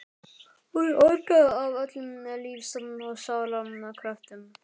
Hún orgaði af öllum lífs og sálar kröftum.